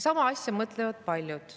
Samamoodi mõtlevad paljud.